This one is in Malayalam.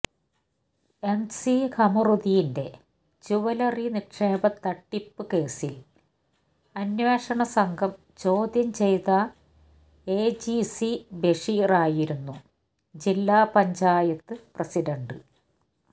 എംസി ഖമറുദ്ദീന്റെ ജൂവലറി നിക്ഷേപ തട്ടിപ്പ് കേസിൽ അന്വേഷണ സംഘം ചോദ്യം ചെയത എജിസി ബഷീറായിരുന്നു ജില്ല പഞ്ചായത്ത് പ്രസിഡണ്ട്